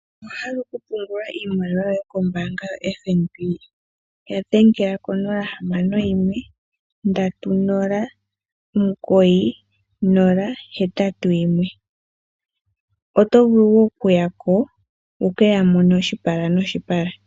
Owahala oku pungula iimaliwa yoye ko mbaanga ya FNB ya dhengela ko nola hamano yimwe ndatu nola omugoyi nola hetatu yimwe. Oto vulu woo oku ya ko wukeya mone oshipala noshipala.